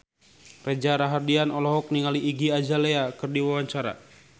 Reza Rahardian olohok ningali Iggy Azalea keur diwawancara